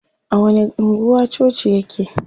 A wani anguwa coci yake?